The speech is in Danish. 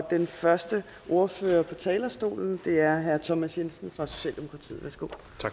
den første ordfører på talerstolen er herre thomas jensen fra socialdemokratiet værsgo